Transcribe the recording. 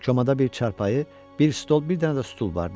Komada bir çarpayı, bir stol, bir dənə də stul vardı.